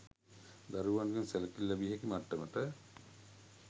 දරුවන්ගෙන් සැලකිලි ලැබිය හැකි මට්ටමට